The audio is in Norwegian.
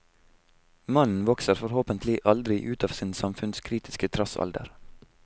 Mannen vokser forhåpentlig aldri ut av sin samfunnskritiske trassalder.